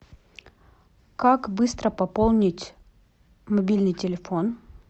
как быстро пополнить мобильный телефон